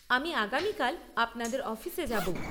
আমি আগামীকাল আপনাদের অফিসে যাব।